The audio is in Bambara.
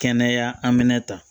Kɛnɛya amina ta